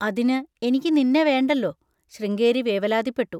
അതിന് എനിക്ക് നിന്നെ വേണ്ടല്ലോ, ശൃംഗേരി വേവലാതിപ്പെട്ടു.